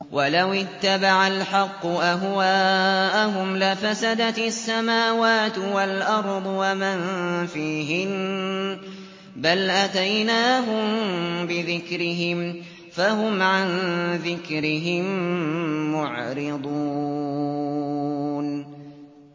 وَلَوِ اتَّبَعَ الْحَقُّ أَهْوَاءَهُمْ لَفَسَدَتِ السَّمَاوَاتُ وَالْأَرْضُ وَمَن فِيهِنَّ ۚ بَلْ أَتَيْنَاهُم بِذِكْرِهِمْ فَهُمْ عَن ذِكْرِهِم مُّعْرِضُونَ